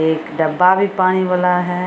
एक डब्बा भी पानी वाला हेय।